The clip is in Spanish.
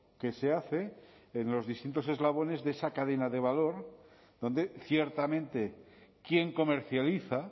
que se hace en los distintos eslabones de esa cadena de valor donde ciertamente quien comercializa